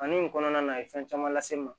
Kanni nin kɔnɔna na a ye fɛn caman lase n ma